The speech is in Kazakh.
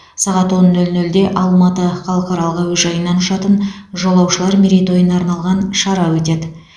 сағат он нөл нөлде алматы халықаралық әуежайынан ұшатын жолаушылар мерейтойына арналған шара өтеді